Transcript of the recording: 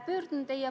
Kõnesoove ei ole.